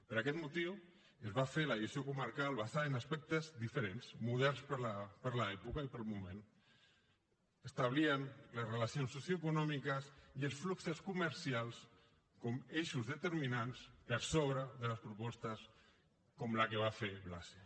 per aquest motiu es va fer la gestió comarcal basada en aspectes diferents moderns per a l’època i per al moment establien les relacions socioeconòmiques i els fluxos comercials com a eixos determinants per sobre de les propostes com la que va fer blasi